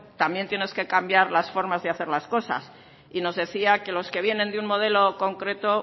también tienes que cambiar las formas de hacer las cosas y nos decía que los que vienen de un modelo concreto